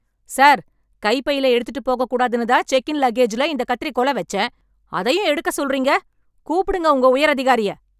Sir, கைப்பையில எடுத்துட்டு போகக்கூடாதுன்னு தான் செக்கின் லக்கேஜ்ல இந்தக் கத்திரிக்கோல வெச்சேன். அதையும் எடுக்கச் சொல்லுறீங்க? கூப்பிடுங்க உங்க உயர் அதிகாரிய.